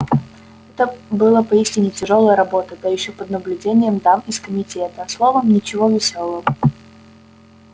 это была поистине тяжёлая работа да ещё под наблюдением дам из комитета словом ничего весёлого